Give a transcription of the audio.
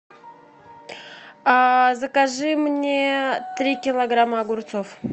закажи мне три килограмма огурцов